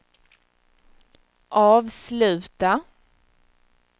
avsluta